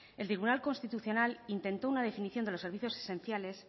el tribunal constitucional intentó una definición de los servicios esenciales